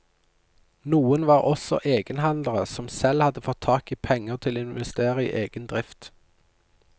Noen var også egenhandlere som selv hadde fått tak i penger til å investere i egen drift.